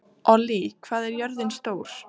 Ollý, hvað er jörðin stór?